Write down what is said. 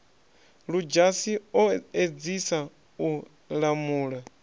ludzhasi o edzisa u lamula